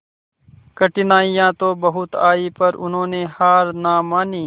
कठिनाइयां तो बहुत आई पर उन्होंने हार ना मानी